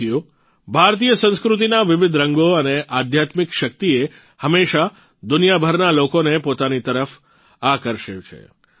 સાથીઓ ભારતીય સંસ્કૃતિના વિવિધ રંગો અને આધ્યાત્મિક શક્તિએ હંમેશા દુનિયાભરના લોકોને પોતાની તરફ આકર્ષ્યા છે